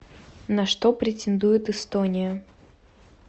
на что претендует эстония